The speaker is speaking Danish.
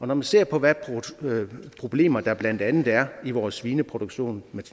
når man ser på hvilke problemer der blandt andet er i vores svineproduktion